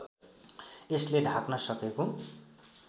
यसले ढाक्न सकेको